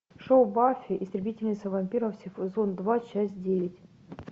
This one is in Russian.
шоу баффи истребительница вампиров сезон два часть девять